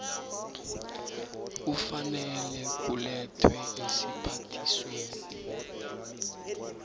kufanele kulethwe esiphathisweni